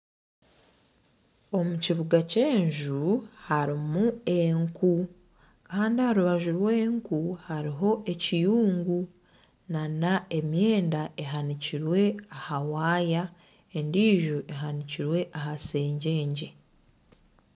Omu kibuga ky'enju harimu enku Kandi aha rubaju rw'enju hariho ekiyungu nana emyenda ehanikirwe aha wire endiijo ehanikirwe aha sengyengye